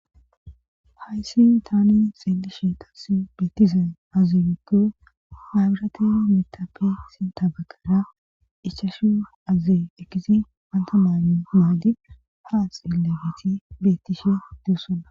hayssi tani xeelishe tasi bettizan azimikke habirate mitape si tabakara ichashu aziekkisi panta maa maadi haa xiellebeti bettishi deessona